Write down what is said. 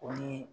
O ni